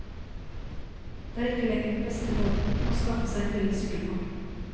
Det er ikke lenger den beste måten å skaffe seg en billig sykkel på.